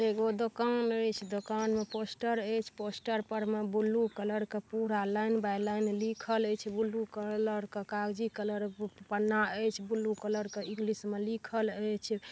एगो दोकान ए छे दोकान में पोस्टर ए छे पोस्टर पर में ब्लू कलर का पूरा लाइन बाय लाइन लिखल ए छे ब्लू कलर का कागजी कलर का पन्ना ए छे ब्लू कलर का इंग्लिश में लिखल ए छे ।